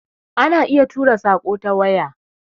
Ana iya tura saƙo ta waya